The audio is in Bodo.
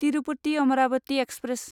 तिरुपति अमरावती एक्सप्रेस